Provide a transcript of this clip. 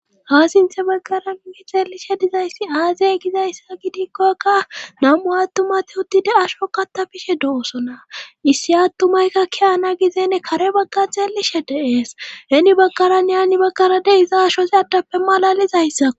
ha sinthe baggara gi xeelishe dizayssi aazey gizayssa gidikkoykka nam7u attumati uttide asho kattafishe doosona issi attumaykka kiyana gizenne kare bagga xeelishe deees heni baggara niaani baggara de iza ashosi addappe malalizayssa